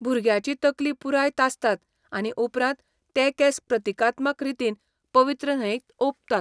भुरग्याची तकली पुराय तासतात आनी उपरांत ते केंस प्रतिकात्मक रितीन पवित्र न्हंयेक ओंपतात.